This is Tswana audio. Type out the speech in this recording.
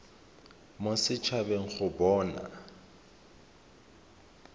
mo set habeng go bona